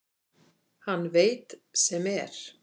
Hann veit sem er.